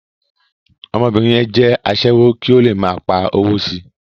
Ọmọbìnrin yẹn jẹ́ aṣẹ́wó kí ó le máa pa owó si.